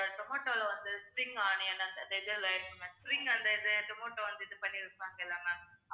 tomato ல வந்து spring onion அந்த red spring அந்த tomato வந்து இது பண்ணியிருப்பாங்கல்ல ma'am